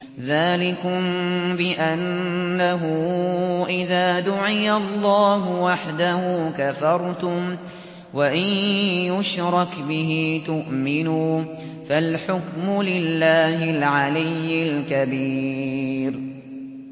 ذَٰلِكُم بِأَنَّهُ إِذَا دُعِيَ اللَّهُ وَحْدَهُ كَفَرْتُمْ ۖ وَإِن يُشْرَكْ بِهِ تُؤْمِنُوا ۚ فَالْحُكْمُ لِلَّهِ الْعَلِيِّ الْكَبِيرِ